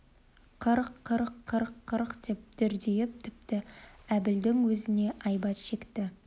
қырқ қырқ қырқ қырқ деп дүрдиіп тіпті әбілдің өзіне айбат шекті